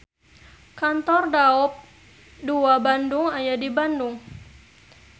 Kantor daop II Bandung aya di Bandung.